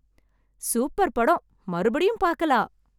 Super படம்! மறுபடியும் பாக்கலா!